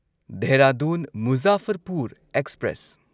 Dehradun Muzaffarpur express